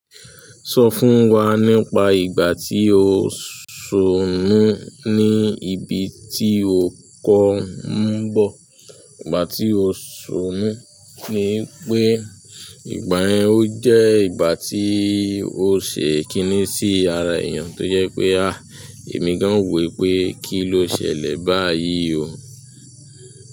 Sọ fún wa nípa ìgbà tí o ṣomú ní ibi tí o kọ m bọ̀. Ìgbà tí o ṣomú ni pé ìgbà yẹn o jẹ́ ìgbà tí o ṣe kìní sí ara èèyàn tó jẹ́ pé, ah! Èmi gan ò wo wí pé kí ló ṣẹlẹ̀ báyìí o.